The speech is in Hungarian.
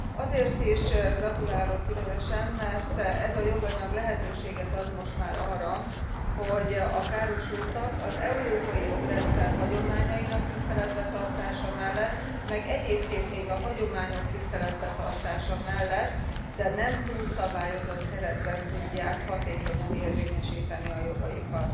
Azért is gratulálok különösen, mert ez a joganyag lehetőséget ad most már arra, hogy a károsultak az európai jogrendszer hagyományainak tiszteletben tartása mellett meg egyébként még a hagyományok tiszteletben tartása mellett, de nem túlszabályozott keretben tudják hatékonyan érvényesíteni a jogaikat.